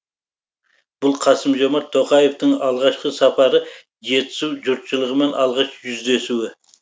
бұл қасым жомарт тоқаевтың алғашқы сапары жетісу жұртшылығымен алғаш жүздесуі